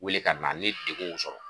Wuli ka na ni degun y'u sɔrɔ.